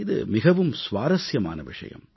இது மிகவும் சுவாரசியமான விஷயம்